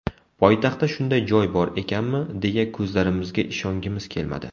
Poytaxtda shunday joy bor ekanmi, deya ko‘zlarimizga ishongimiz kelmadi.